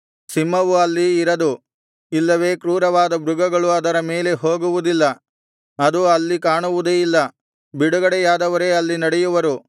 ಸಿಂಹವು ಅಲ್ಲಿ ಇರದು ಇಲ್ಲವೆ ಕ್ರೂರವಾದ ಮೃಗಗಳು ಅದರ ಮೇಲೆ ಹೋಗುವುದಿಲ್ಲ ಅದು ಅಲ್ಲಿ ಕಾಣುವುದೇ ಇಲ್ಲ ಬಿಡುಗಡೆಯಾದವರೇ ಅಲ್ಲಿ ನಡೆಯುವರು